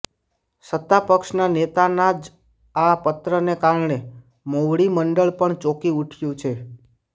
સત્તા પક્ષના નેતાના જ આ પત્રને કારણે મોવડી મંડળ પણ ચોંકી ઉઠયું છે